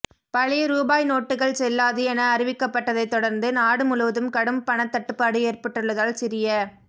பழைய ரூபாய் நோட்டுகள் செல்லாது என அறிவிக்கப்பட்டதைத் தொடர்ந்து நாடு முழுவதும் கடும் பணத் தட்டுப்பாடு ஏற்பட்டுள்ளதால் சிறிய